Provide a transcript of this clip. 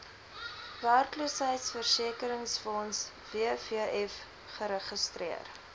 werkloosheidversekeringsfonds wvf geregistreer